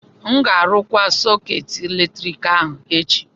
M ga-arụkwa sọkeetị eletrik ahụ echi